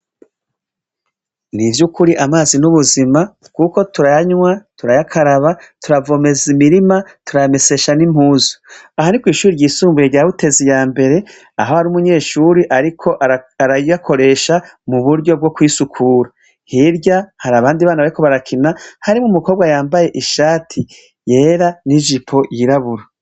Nivyukuri amazi n'ubuzima kuko turayanywa, turayakaraba, turayavomeza imirima. turayamesesha n'impuzu, aha ni kw'ishure rya Butezi yambere aho hari umunyeshure ariko arayakoresha mu buryo bwo kwisukura, hirya hari abandi bana bariko barakina harimwo umukobwa yambaye ishati yera n'ijipo y'irabura.